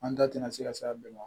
An da tɛna se ka se a bɛɛ ma